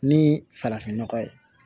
Ni farafinnɔgɔ ye